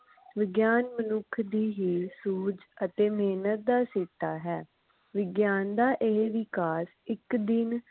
ਵਿਗਿਆਨ ਮਨੁੱਖ ਦੀ ਹੀ ਸੂਝ ਅਤੇ ਮਿਹਨਤ ਦਾ ਸਿੱਟਾ ਹੈ ਵਿਗਿਆਨ ਦਾ ਇਹ ਵਿਕਾਸ ਇਕ ਦਿਨ